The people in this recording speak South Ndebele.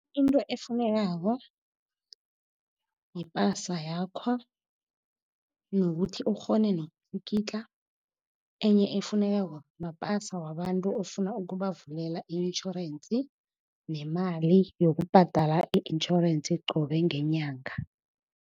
Into efunekako yipasa yakho, nokuthi ukghone nokutlikitla. Enye efunekako mapasa wabantu ofuna ukubavulela i-intjhorensi, nemali yokubhadala i-intjhorensi qobe ngenyanga.